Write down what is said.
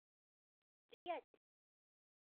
приятель